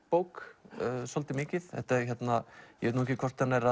bók svolítið mikið ég veit ekki hvort hann er